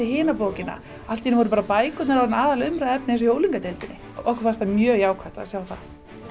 hina bókina allt í einu voru bækur orðnar aðalatriðið í unglingadeildinni okkur fannst það mjög jákvætt að sjá það